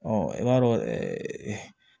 i b'a dɔn